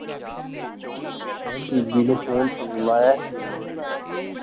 ਮੈਂ ਕਿਹਾ ਬੀਬੀ ਨੂੰ phone ਤੂੰ ਲਾਇਆ ਸੀ ਕੇ ਉਹਨਾਂ ਨੇ ਲਾਇਆ ਸੀ